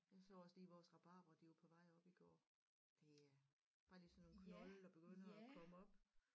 Jeg så også lige vores rabarber de var på vej op i går bare lige sådan nogle knolde der begynder at komme op